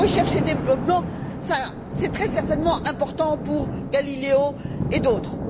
Recherche et développement, c'est très certainement important pour Galileo et d'autres.